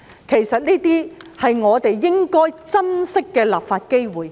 其實，這些都是我們應該珍惜的立法機會。